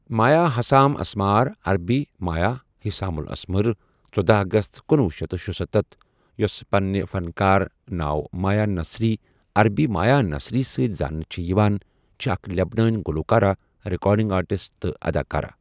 مایا Hussam Asmar عربی Maya Hussam الأسمر، ژٔداہ اَگَست کنۄہ شیتھ شُسَتتھ ، یۄس پننہٕ فَن کار ناو مایا نصری عربی مایا نصری سٟتؠ زاننہٕ چھِ یِوان، چھ اَکھ لؠبنٲنؠ گلوکارہ، ریکارڈنگ آرٹسٹ، تہٕ اداکارہ